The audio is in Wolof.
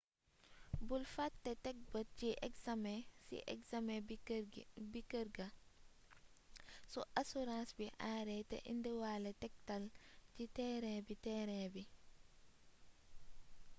bul fate teg bët si examen bi kërga su asurãns bi aare te indiwale tektal si terain bi terain bi